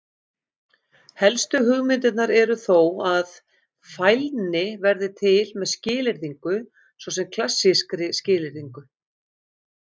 Helstu hugmyndirnar eru þó að: Fælni verði til með skilyrðingu, svo sem klassískri skilyrðingu.